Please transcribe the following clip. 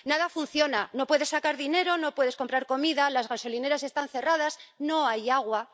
Nada funciona —no puedes sacar dinero, no puedes comprar comida, las gasolineras están cerradas, no hay agua—.